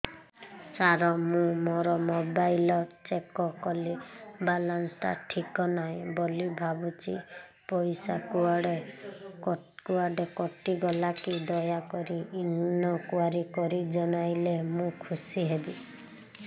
ସାର ମୁଁ ମୋର mobile check କଲି ବାଲାନ୍ସ ଟା ଠିକ ନାହିଁ ବୋଲି ଭାବୁଛି ପଇସା କୁଆଡେ କଟି ଗଲା କି ଦୟାକରି ଇନକ୍ୱାରି କରି ଜଣାଇଲେ ମୁଁ ଖୁସି ହେବି